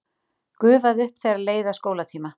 Gufaði upp þegar leið að skólatíma.